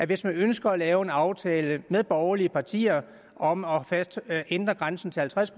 hvis man ønsker at lave en aftale med borgerlige partier om at ændre grænsen til halvtreds